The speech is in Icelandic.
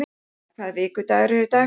Sigurfinna, hvaða vikudagur er í dag?